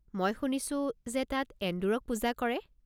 মই শুনিছো যে তাত এন্দুৰক পূজা কৰে!